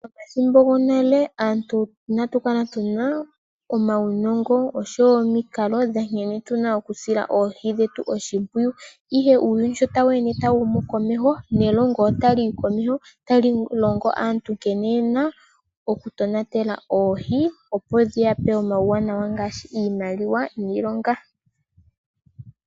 Momathimbo gonale aantu inatu kala tuna uunongo oshowo omikalo dha nkene tuna oku sila oohi dhetu oshimpwiyu, ihe uuyuni sho tawu ende tawu humu komeho nelongo otali yi komeho otali tu longo aantu nkene yena oku tonatela oohi opo dhi yape omauwanawa ngaashi iimaliwa niilonga.